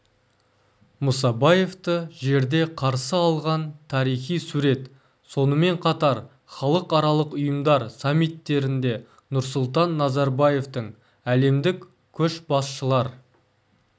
мұсабаевты жерде қарсы алған тарихи сурет сонымен қатар халықаралық ұйымдар саммиттерінде нұрсұлтан назарбаевтың әлемдік көшбасшылар